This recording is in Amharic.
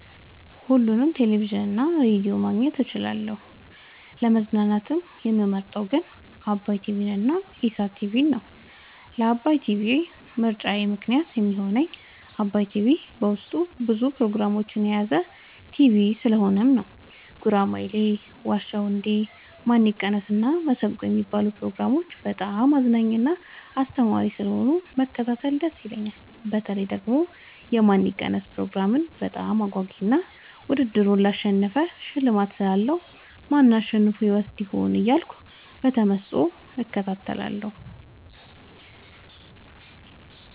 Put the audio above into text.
ሁሉንም ቴሌቪዥን እና ሬዲዮ ማግኘት እችላለሁ: : ለመዝናናት የምመርጠዉ ግን ዓባይ ቲቪንና ኢሣት ቲቪን ነዉ። ለዓባይ ቲቪ ምርጫየ ምክንያት የሚሆነኝ ዓባይ ቲቪ በዉስጡ ብዙ ፕሮግራሞችን የያዘ ቲሆን ጉራማይሌ የዋ ዉ እንዴ ማን ይቀነስ እና መሠንቆ የሚሉትን ፕሮግራሞች በጣም አዝናኝና አስተማሪ ስለሆኑ መከታተል ደስ ይለኛል። በተለይ ደግሞ የማን ይቀነስ ፕሮግራም በጣም አጓጊ እና ዉድድሩን ላሸነፈ ሽልማት ስላለዉ ማን አሸንፎ ይወስድ ይሆን እያልኩ በተመስጦ እከታተላለሁ።